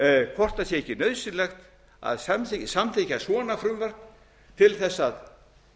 hvort það sé ekki nauðsynlegt að samþykkja svona frumvörp til þess að